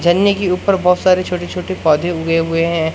झरने के ऊपर बहोत सारे छोटे छोटे पोधै उगे हुए है।